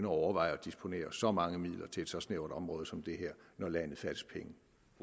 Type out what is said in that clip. overveje at disponere så mange midler til et så snævert område som det her når landet fattes penge